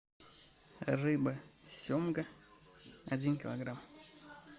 рыба семга один килограмм